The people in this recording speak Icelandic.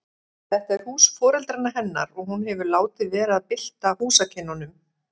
Þetta er hús foreldra hennar og hún hefur látið vera að bylta húsakynnum.